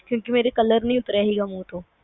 ਕਿਉਂਕ ਮੇਰੇ color ਨਹੀਂ ਉਤਰਿਆ ਸੀਗਾ ਮੂੰਹ ਤੋਂ